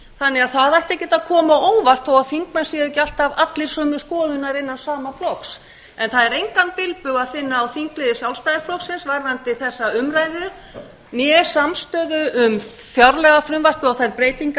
þannig að það ætti ekki að koma á óvart þó að þingmenn séu ekki alltaf allir sömu skoðunar innan sama flokks það er engan bilbug að finna á þingliði sjálfstæðisflokksins varðandi þessa umræðu né samstöðu um fjárlagafrumvarpið og þær breytingar